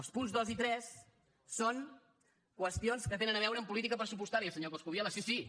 els punts dos i tres són qüestions que tenen a veure amb política pressupostària senyor coscubiela sí sí